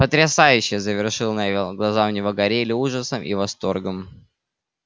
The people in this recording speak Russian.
потрясающе завершил невилл глаза у него горели ужасом и восторгом